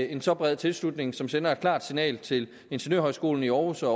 en så bred tilslutning som sender et klart signal til ingeniørhøjskolen i århus og